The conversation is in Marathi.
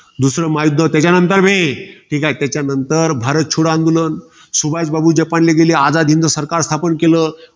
दुसरं महायुध्द. त्याच्यानंतर हे, ते काय? त्याच्यानंतर भारत छोडो आंदोलन. सुभाषबाबू जपानला गेले. आझाद हिंद सरकार स्थापन केलं.